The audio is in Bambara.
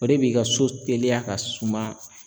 O de b'i ka so teliya ka suma